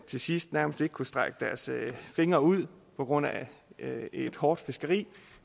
til sidst nærmest ikke kunne strække deres fingre ud på grund af et hårdt fiskeri